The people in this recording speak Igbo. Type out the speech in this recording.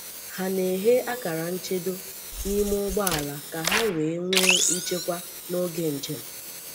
Hà na-ehè akara nchedo n’ime ụgbọala ka ha wee nwee nchekwà n’oge njem.